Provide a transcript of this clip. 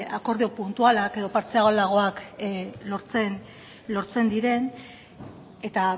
akordio puntualak eta partzialagoak lortzen diren eta